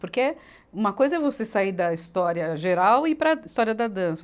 Porque uma coisa é você sair da história geral e ir para a história da dança.